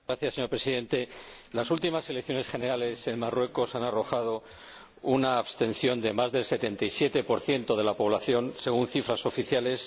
Señor Presidente, las últimas elecciones generales en Marruecos han arrojado una abstención de más del 77 de la población según cifras oficiales